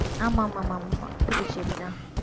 ஆமா ஆமா ஆமாம்மா புதுச்சேரிதான்